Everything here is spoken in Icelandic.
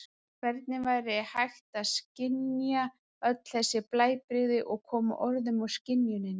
Hvernig var hægt að skynja öll þessi blæbrigði og koma orðum að skynjuninni?